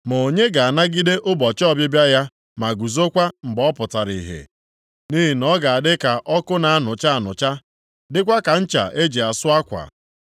“Ma onye ga-anagide ụbọchị ọbịbịa ya ma guzokwa mgbe ọ pụtara ihe? Nʼihi na ọ ga-adị ka ọkụ na-anụcha anụcha, dịkwa ka ncha e ji asụ akwa.